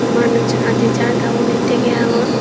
manuj adi jadon undi tegey agon.